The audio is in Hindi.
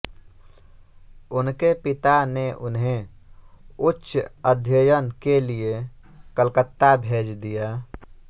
उनके पिता ने उन्हें उच्च अध्ययन के लिए कलकत्ता भेज दिया